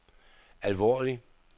alvorlig